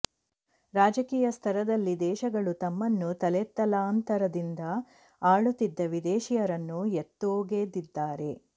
ರಾಜಕೀಯ ಸ್ತರದಲ್ಲಿ ದೇಶಗಳು ತಮ್ಮನ್ನು ತಲೆತಲಾಂತರದಿಂದ ಆಳುತ್ತಿದ್ದ ವಿದೇಶೀಯರನ್ನು ಎತ್ತೊಗೆದಿದ್ದಾರೆ